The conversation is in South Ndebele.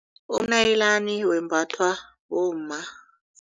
Umnayilani wembathwa bomma.